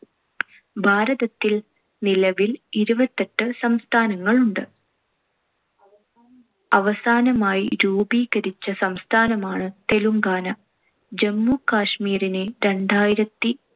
ഭാരതത്തിൽ നിലവിൽ ഇരുപത്തിയെട്ട് സംസ്ഥാനങ്ങളുണ്ട്. അവസാനമായി രൂപീകരിച്ച സംസ്ഥാനമാണ് തെലുങ്കാന. ജമ്മുകാശ്മീരിനെ രണ്ടായിരത്തി